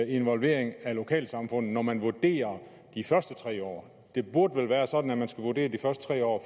involvering af lokalsamfundet og man vurderer de første tre år det burde vel være sådan at man skal vurdere de første tre år